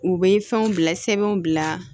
U bɛ fɛnw bila sɛbɛnw bila